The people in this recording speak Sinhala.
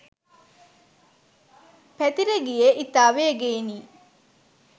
පැතිර ගියේ ඉතා වේගයෙනි.